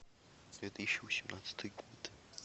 две тысячи восемнадцатый год